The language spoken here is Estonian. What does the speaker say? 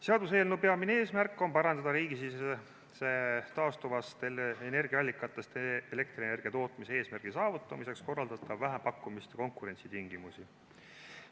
Seaduseelnõu peamine eesmärk on parandada riigisisestest taastuvatest energiaallikatest elektrienergia tootmise eesmärgi saavutamiseks korraldatavate vähempakkumiste konkurentsitingimusi.